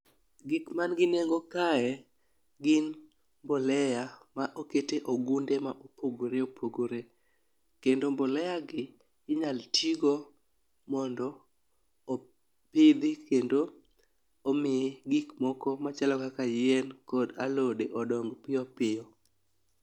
Gik ma nigi nengo kae , gin mbolea ma okete ogunde ma opogoreopogore. Kendo mbolea gi, inyalo tigo mondo opidhi, kendo omi gik moko machalo kaka yien kod alode odong piyopiyo.